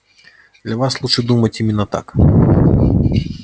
для вас лучше думать именно так